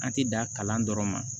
An ti da kalan dɔrɔn ma